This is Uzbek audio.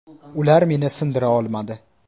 Ular meni sindira olmadi.